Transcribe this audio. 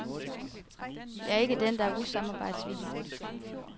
Jeg er ikke den, der er usamarbejdsvillig.